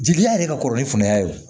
Jigiliya yɛrɛ ka kɔrɔ ni fanga y'a ye